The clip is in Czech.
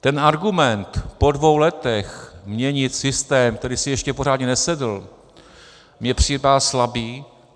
Ten argument po dvou letech měnit systém, který si ještě pořádně nesedl, mně připadá slabý.